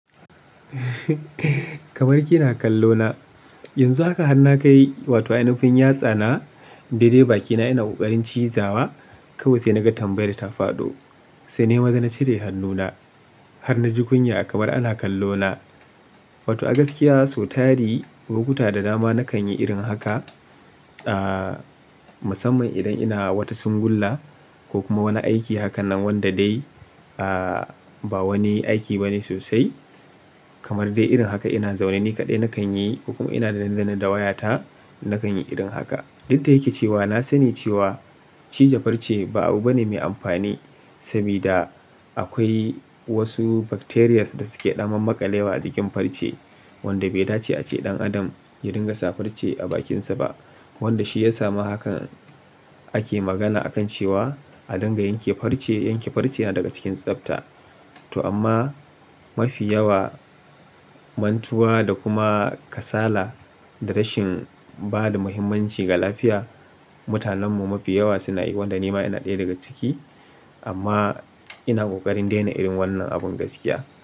Kamar kina kallo na, yanzu haka har na kai wato ainafin yatsa na, dai dai bakina ina kokarin ciyza wa, kawai sai na ga tambayar ta faɗo. Sai nema da na cire hannuna. Har na ji kunya kamar ana kallo na. Wato a gaskiya sau tari, lokuta da dama na kan yi irin haka. Ahh, musamman idan ina wata singulla ko kuma wani aiki hakanan wanda dai ahh ba wani aiki bane sosai. Kamar dai irin haka ina zaune ni kaɗai na kan yi ko kuma ina danne danne da wayata na kan yi irin haka. Duk da yake cewa na sani cewa cija farce ba abu bane mai amfani. Sabi da akwai wasu bacterias da suke daman maƙalewa a jikin farce. Wanda bai dace ace ɗan adam ya dinga sa farce a bakinsa ba. Wanda shi ya sa ma haka ake magana akan cewa a dinga yanke farce, yanke farce yana daga cikin tsabta. To amma mafi yawa mantuwa da kuma kasala da rashin ba da muhimmanci ga lafiya. Mutanen mu mafi yawa suna yi wanda nima ina ɗaya daga ciki. Amma ina kokarin daina irin wannan abun gaskiya.